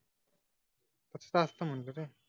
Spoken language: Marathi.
गस्त असत मनतो तो